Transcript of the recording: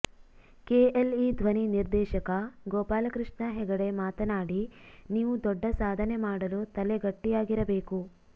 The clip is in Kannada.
ಕೆಎಲ್ಇ ಧ್ವನಿ ನಿರ್ದೇಶಕ ಗೋಪಾಲಕೃಷ್ಣ ಹೆಗಡೆ ಮಾತನಾಡಿ ನೀವು ದೊಡ್ಡ ಸಾಧನೆ ಮಾಡಲು ತಲೆ ಗಟ್ಟಿಯಾಗಿರಬೇಕು